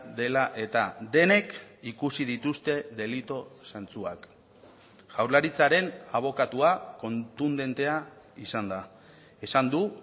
dela eta denek ikusi dituzte delitu zantzuak jaurlaritzaren abokatua kontundentea izan da esan du